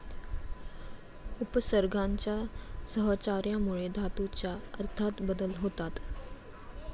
उपसर्गांच्या सहचार्यामुळे धातूच्या अर्थात बदल होतात.